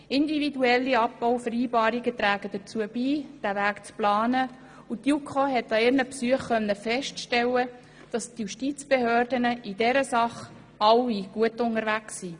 Individuelle Abbauvereinbarungen tragen dazu bei, diesen Weg zu planen und die JuKo konnte bei ihren Besuchen feststellen, dass die Justizbehörden in dieser Sache alle gut unterwegs sind.